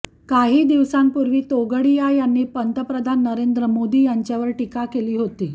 काहीदिवसांपूर्वी तोगडिया यांनी पंतप्रधान नरेंद्र मोदी यांच्यावर टीका केली होती